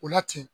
O la ten